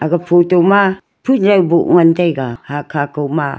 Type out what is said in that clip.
photo ma phujau bu ngan taiga haa khaa kho ma.